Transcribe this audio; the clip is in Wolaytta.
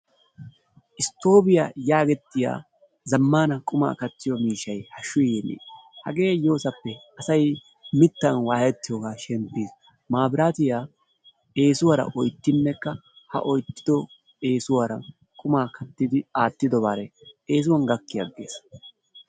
Isttoobiya yaagettiya zammaana qumaa kattiyo miishshay hashshu yeennee. Hagee yoosappe asay mittan waayettiyogaa shemppiis. Maabiraatiya eesuwara oyttinnekka ha oyttido eesuwara qumaa kattidi aattidobare eesuwan gakki aggees.